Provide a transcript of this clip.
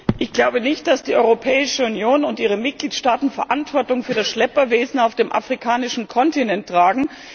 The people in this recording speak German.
Ich glaube nicht, dass die Europäische Union und ihre Mitgliedstaaten Verantwortung für das Schlepperwesen auf dem afrikanischen Kontinent tragen.